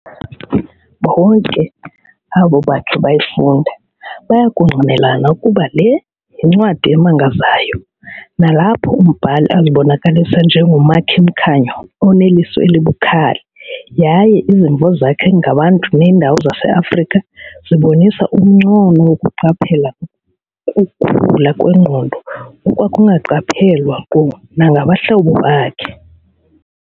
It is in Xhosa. Bonke abo bakhe bayifunda bayakungqinelana ukuba le yincwadi emangazayo nalapho umbhali azibonakalisa njengomakhi-mkhanyo oneliso elibukhali yaye izimvo zakhe ngabantu neendawo zaseAfrika zibonisa umncono wokuqaphela nokukhula kwengqondo okwakungaqaphelwa nkqu nangabahlobo bakhe.